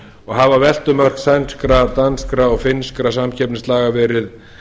og hafa veltumörk sænskra danskra og finnskra samkeppnislaga verið